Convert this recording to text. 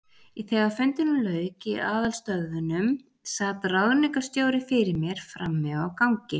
Þegar fundinum lauk í aðalstöðvunum, sat ráðningarstjóri fyrir mér frammi á gangi.